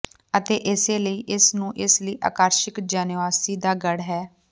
ਅਤੇ ਇਸੇ ਲਈ ਇਸ ਨੂੰ ਇਸ ਲਈ ਆਕਰਸ਼ਕ ਜੈਨੋਆਵਾਸੀ ਦਾ ਗੜ੍ਹ ਹੈ